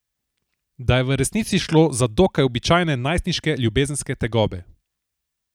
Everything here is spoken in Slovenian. Da je v resnici šlo za dokaj običajne najstniške ljubezenske tegobe.